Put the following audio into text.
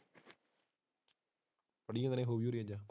ਫੜੀਏ ਫੇਰ ਹੋ ਗਈ